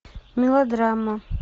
мелодрама